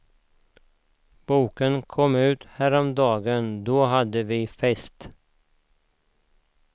Boken kom ut häromdagen, då hade vi fest.